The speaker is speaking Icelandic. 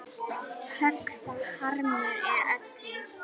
Högg það harmur er öllum.